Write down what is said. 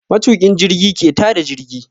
Matuƙin jirgi ke ta da jirgi.